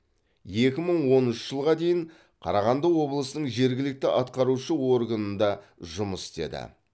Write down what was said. екі мың оныншы жылға дейін қарағанды облысының жергілікті атқарушы органында жұмыс істеді